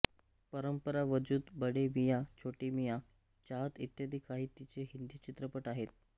परंपरा वजूद बडे मियां छोटे मियां चाहत इत्यादी काही तिचे हिंदी चित्रपट आहेत